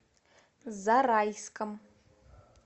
зарайском